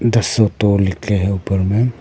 The सोटो लिखे हैं ऊपर में।